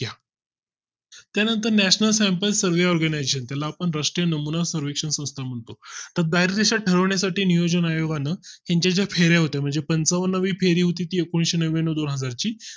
त्यानंतर national survey organisation त्याला पण राष्ट्रीय नमुना survekshan संस्था म्हणतो तर दहा दिशा ठरवण्या साठी नियोजन आयोगानं त्यांच्या फिरत होते म्हणजे पंचावन्न वी जी फेरी होती एकुणिशे नव्व्याण्णव भागा ची